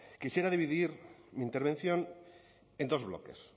quisiera dividir mi intervención en dos bloques